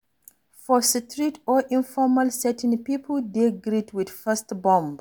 For street or informal setting pipo dey greet with fist bump